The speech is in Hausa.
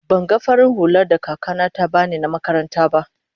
ban gan farin hulla da kaka na ta bani na makaranta ba.